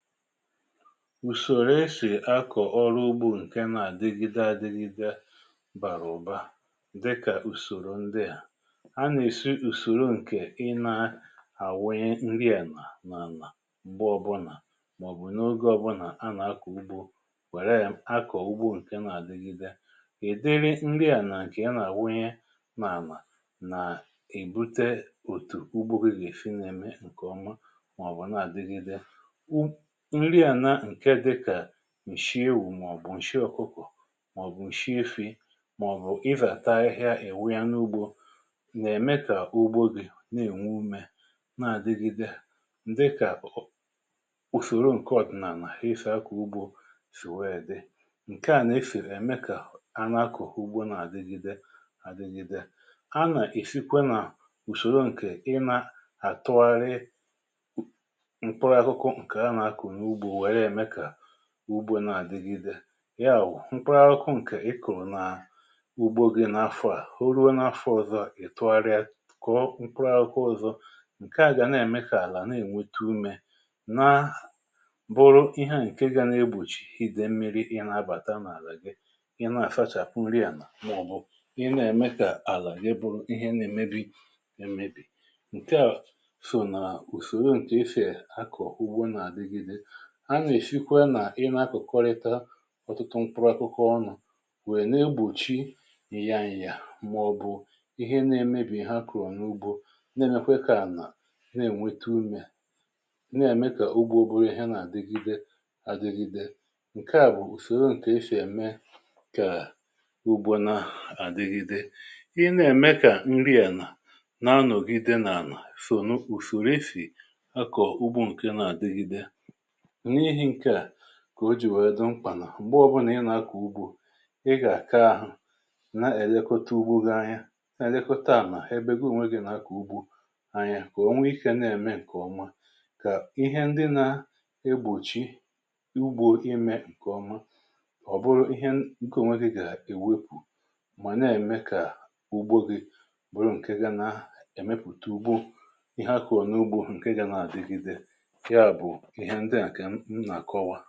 ùsòrò esì akọ̀ ọrụ ugbȯ ǹke na-àdịgịde àdịgịde bàrụ̀ ụ̀ba, dịkà ùsòrò ndịà: A nà-èsi na-ùsòrò ǹkè ị na-àwụnye nrị ànà n'anà m̀gbe ọ bu nà màọ̀bụ̀ n’oge ọ bụ nà a nà-akọ̀ ugbȯ, wère ya akọ̀ ugbȯ ǹke na-àdịgịde. Ndiri nrị ànà ǹkè a nà-àwụnye nà-àlà, nà-èbute òtù ugbo gị gà-èsi na-ème ǹkè ọma, màọ̀bụ̀ na-àdịgịde. Nri ànà ǹke dịkà ǹshị ewụ̀, màọ̀bụ̀ ǹshị ọ̀kụkụ̀, màọ̀bụ̀ ǹshị efì, màọ̀bụ̀ ịzàta ahịhịa ị nwunye n’ugbȯ, nà-ème kà ugbo gị na-ènwe umė, na-àdịgide, dịkà ò usòro ǹke ọ̀dị̀nànà e sị ako ugbȯ sì weè dị. Nkè à nà-efèrè ème kà a nà-àkọ ugbo nà àdịgide, àdịgide. A nà-èsikwe nà ùsòrò ǹkè ị nà àtụgharị mkpụrụ akwụkwọ nkè ànà-aku n'ugbȯ nwèè ème ka ùgbò na-àdịgịde. ya wụ̀ mkpụrụ akwụkwọ ǹkè ịkuru nà ugbȯ gị n’afọ̇ à, o ruo n’afọ̇ ọ̀zọ, ì tụgharịa kọ̀ọ mkpụrụ akwụkwọ ọ̀zọ, ǹke à gà na-ème kà àlà na-ènwete umė, na bụrụ ihe à ǹke gȧ na-egbòchì idė mmiri ị nȧ-abàta n’àlà gị, ị nȧ-àsachàpụ nri ànà, mà ọ̀ bụ ị nȧ-ème kà àlà gị bụrụ ihe na-èmebi emebì. Nkè a sò nà usòro ǹke esì ako ugbȯ na-àdịgịde. A nà-èshikwa nà ị nȧ akokọrịta ọtụtụ mkpụrụ akwụkwọ ọnụ̇ nwèe na-egbòchi ị̀ya nyà màọ̀bụ̀ ihe na-emebì ìhe n èmebi Ihe a kụ̀rụ̀ n’ugbȯ na-emekwe kà anà na-ènweta umė, nà-ème kà ugbȯ buru ihe nà-àdịgide àdịgide. Nǹkè a bụ̀ ùsòro ǹkè esì ème kà ugbȯ nà-àdịgide. I na-ème kà nri ànà nà anọ̀gide nà anà sòno ùsòrò esì a kọ̀ ugbȯ ǹkè nà-àdịgide. N'ihi nke à, kà o ji wee di mkpà nà m̀gbe ọ bụ nà ị nà-akọ̀ ugbȯ, ị gà-àka ahụ̀ na-èlekota ugbo gị anya na-èlekota ànà ebe gi ònwe gị̀ nà-akọ̀ ugbo anya. Kà ònwe ikė na-ème ǹkè ọma, kà ihe ndị na egbòchi ugbȯ imė ǹkèọma, ọ̀ bụrụ ihe nkè ònwe gị gà-èwepù, mà na-ème kà ugbo gị bụrụ ǹke ga nà-èmepùta ugbo, ihe àkorọ̀ na-ugbo ǹke ga nà-àdịgide. Yà bụ ìhe ǹdi a kà m ǹa-ọ̀kọwà.